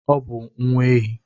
Ọ bụ nwa ehi.